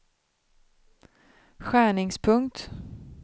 skärningspunkt